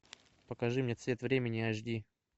покажи мне цвет времени аш ди